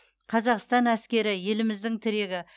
қазақстан әскері еліміздің тірегі